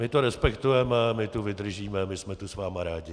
My to respektujeme, my tu vydržíme, my jsme tu s vámi rádi.